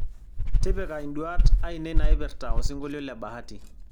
tipika induat ainei naipirta osingolio le bahati